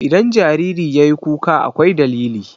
Idan jariri yayi kuka akwai dalili.